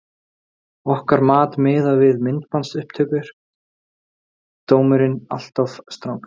Okkar mat miðað við myndbandsupptöku: Dómurinn alltof strangur.